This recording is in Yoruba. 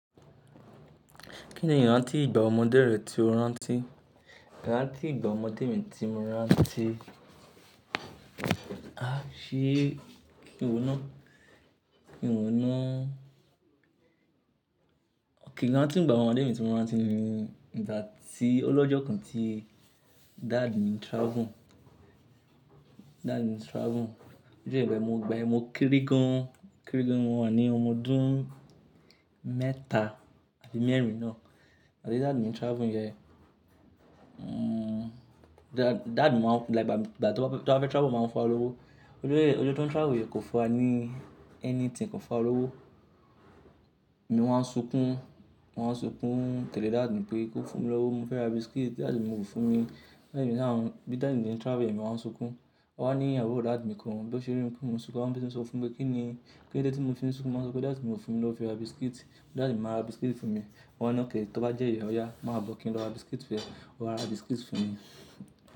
Kí ni ìrántí ìgbà ọmọdé rẹ tí o rántí? Ìrántí ìgbà ọmọdé mi tí mo rántí. Ah, ṣe kí n wọ̀nà? Kí n wọ̀nà? Òkè ìrántí ìgbà ọmọdé mi tí mo rántí ni ìgbà tí o lọ́jọ́ kan tí daddy mi ń travel. Daddy mi ń travel. Ọjọ́ yẹn, ìgbà yen, mo kéré gán, kéré gán, mo wà ní ọmọ ọdún mẹ́ta àbí mẹ́rin náà àti daddy mi ń travel yẹn. Hmm, dad-daddy máa ń-- like ìgbà-ìgbà tí wọ́n bá fẹ́ travel máa ń fu wa lówó. Ojú ọjọ́ tó ń travel yẹn kò fún wa ní anything, kò fún wa lówó. Mo wá ń sunkún, wá ń sunkún tẹ̀lé daddy mi pé kó fún mi lówó. Mo fẹ́ ra biscuit, daddy mi kò fún mi. Daddy mi ni àwọn, bí daddy mi ṣe ń travel yẹ, mo wáa ń sunkún. Wọ́n ní àbúrò daddy mi kan bí ó ṣe rí mi pé mo ń sunkún, ó ma ń bínú sọ fún mi pé kíni, kílódé tí mo fi nsunkún. Mo wá sọ pé "daddy mi ò fún mi lówó fi ra biscuit. Daddy ma ra biscuit fún mi." Wọ́n ni okay, to bá jẹ́ ìyẹ ọ̀ya máa bọ̀ kí n lọ ra biscuit fún ẹ, wọn wá ra biscuit fún mi.